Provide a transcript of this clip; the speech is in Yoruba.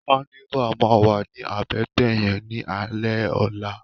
Kànivá mà wá ni àbètè yèn ni álè òlá